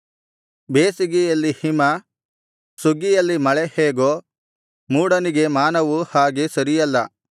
ಬೇಸಿಗೆಯಲ್ಲಿ ಹಿಮ ಸುಗ್ಗಿಯಲ್ಲಿ ಮಳೆ ಹೇಗೋ ಮೂಢನಿಗೆ ಮಾನವು ಹಾಗೆ ಸರಿಯಲ್ಲ